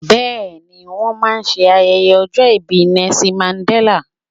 Bẹ́ẹ̀ ni, wọ́n máa ṣe ayẹyẹ ọjọ́ ìbí Nelson Mandella.